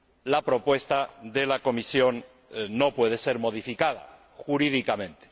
la propuesta de la Comisión no puede ser modificada jurídicamente.